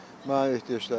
Mənə ehtiyacları yoxdur.